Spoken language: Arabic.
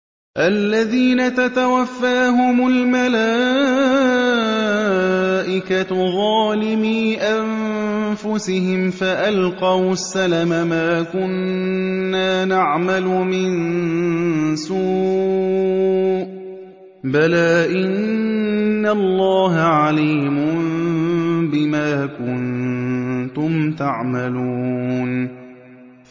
الَّذِينَ تَتَوَفَّاهُمُ الْمَلَائِكَةُ ظَالِمِي أَنفُسِهِمْ ۖ فَأَلْقَوُا السَّلَمَ مَا كُنَّا نَعْمَلُ مِن سُوءٍ ۚ بَلَىٰ إِنَّ اللَّهَ عَلِيمٌ بِمَا كُنتُمْ تَعْمَلُونَ